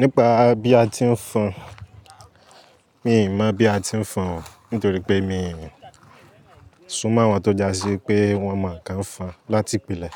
Nípa bí a ti ń fọn, mi ò mọ̀ bí a ti ń fọn, nítorí pé mi ò sún mọ́ àwọn tó jásí pé wón mọ̀ nǹkan fọn láti ìpìlẹ̀.